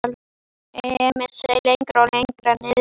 Emil seig lengra og lengra niðrí sætið.